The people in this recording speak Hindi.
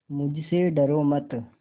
मुझसे डरो मत